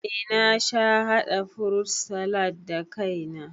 Eh na sha haɗa furut salad da kai na